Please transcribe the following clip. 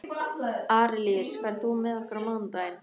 Arilíus, ferð þú með okkur á mánudaginn?